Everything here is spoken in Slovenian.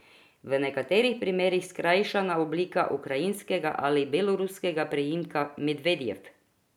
V nekaterih primerih skrajšana oblika ukrajinskega ali beloruskega priimka Medvedjev.